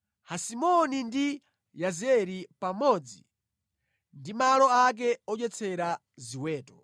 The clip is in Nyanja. Hesiboni ndi Yazeri, pamodzi ndi malo ake odyetsera ziweto.